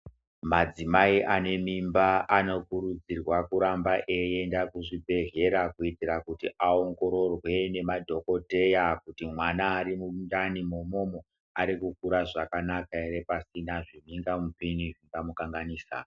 Madzimai ane mimba anokurudzirwa kuramba eienda kuzvibhedhleya. Kuitira kuti aongororwe nemadhokoteya kuti mwana ari mundani mumu arikukura zvakanaka ere, pasina zvimhingamupini zveimukanganisa.